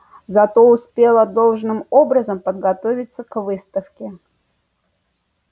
зато успела должным образом подготовиться к выставке